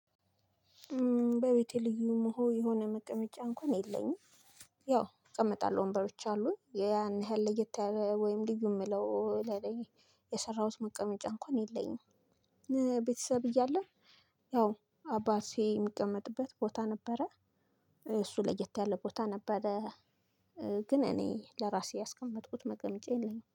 በቤቴ ልዩ መሆ የሆነ መቀመጫ እንኳን የለኝም ያው እቀመጣለሁ ወንበሮች አሉኝ ያን ያህል ለየት ወይም ልዩ የምለው ለለየ የሰራሁት መቀመጫ እንኳን የለኝም ቤተሰብ እያለ ያው አባ ሲሄድ የምቀመጥበት ቦታ ነበረ፤ እሱ ለየት ያለ ቦታ ነበረ ግን እኔ ለራሴ ያስቀመጥኩት መቀመጫ የለኝም።